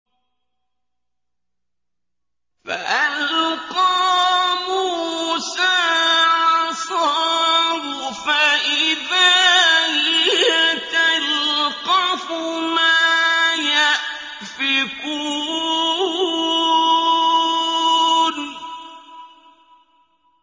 فَأَلْقَىٰ مُوسَىٰ عَصَاهُ فَإِذَا هِيَ تَلْقَفُ مَا يَأْفِكُونَ